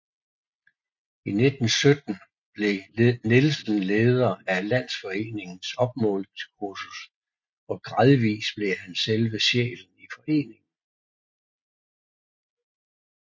I 1917 blev Nielsen leder af Landsforeningens opmålingskursus og gradvist blev han selve sjælen i foreningen